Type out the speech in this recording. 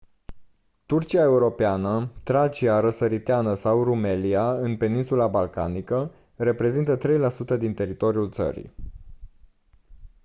turcia europeană tracia răsăriteană sau rumelia în peninsula balcanică reprezintă 3% din teritoriul țării